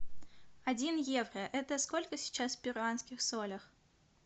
один евро это сколько сейчас в перуанских солях